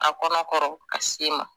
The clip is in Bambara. A kɔnɔ kɔrɔ.